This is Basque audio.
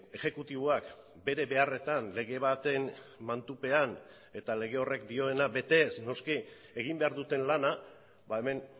exekutiboak bere beharretan lege baten mantupean eta lege horrek dioena betez noski egin behar duten lana hemen